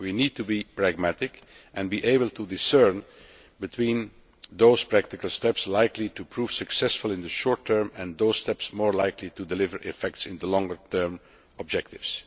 We need to be pragmatic and be able to discern between those practical steps likely to prove successful in the short term and those steps more likely to produce an effect in the longer term objectives.